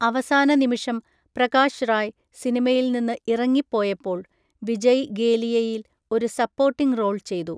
അവസാന നിമിഷം പ്രകാശ് റായ് സിനിമയിൽ നിന്ന് ഇറങ്ങിപ്പോയപ്പോൾ വിജയ് ഗേലിയയിൽ ഒരു സപ്പോർട്ടിംഗ് റോൾ ചെയ്തു.